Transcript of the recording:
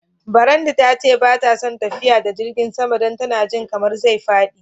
Brandy ta ce ba ta son tafiya da jirigin sama dan tana ji kaman zai fadi.